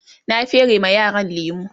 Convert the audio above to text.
na fere ma yaran lemu